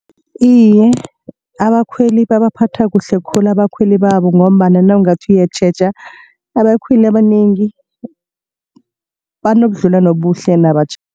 Iye, abakhweli babaphatha kuhle khulu abakhweli babo. Ngombana nawungathi uyatjheja abakhweli abanengi banobudlelwano obuhle